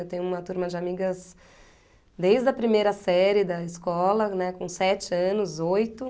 Eu tenho uma turma de amigas desde a primeira série da escola, né, com sete anos, oito.